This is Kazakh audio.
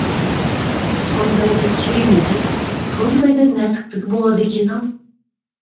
сондай да кереметі сондай да нәзіктігі болады екен ау